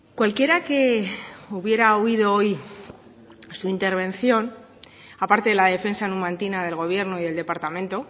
cualquiera que hubiera oído hoy su intervención aparte de la defensa numantina del gobierno y del departamento